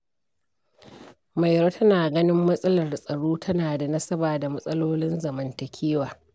Mairo tana ganin, matsalar tsaro tana da nasaba da matsalolin zamantakewa.